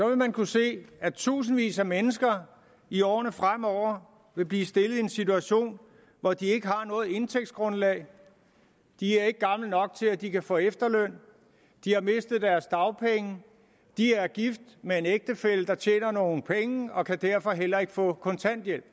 vil man kunne se at tusindvis af mennesker i årene fremover vil blive stillet i en situation hvor de ikke har noget indtægtsgrundlag de er ikke gamle nok til at de kan få efterløn de har mistet deres dagpenge de er gift med en ægtefælle der tjener nogle penge og kan derfor heller ikke få kontanthjælp